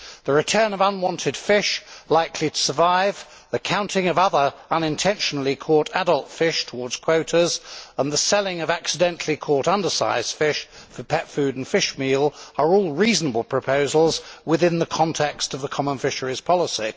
The return of unwanted fish that are likely to survive, the counting of other unintentionally caught adult fish towards quotas, and the selling of accidentally caught undersize fish for pet food and fishmeal are all reasonable proposals within the context of the common fisheries policy.